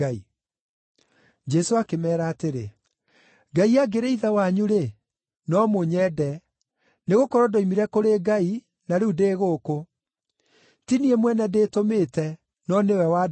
Jesũ akĩmeera atĩrĩ, “Ngai angĩrĩ Ithe wanyu-rĩ, no mũnyende, nĩgũkorwo ndoimire kũrĩ Ngai, na rĩu ndĩ gũkũ. Ti niĩ mwene ndĩĩtũmĩte, no nĩwe wandũmire.